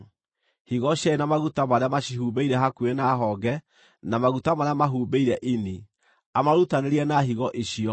higo cierĩ na maguta marĩa macihumbĩire hakuhĩ na honge, na maguta marĩa mahumbĩire ini, amarutanĩrie na higo icio.